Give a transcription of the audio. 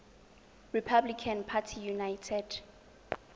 republican party united